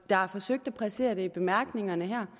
har forsøgt at præcisere det i bemærkningerne her